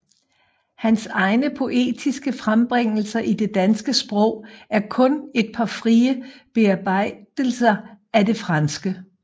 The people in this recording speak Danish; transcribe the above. Hans egne poetiske frembringelser i det danske sprog er kun et par frie bearbejdelser efter det franske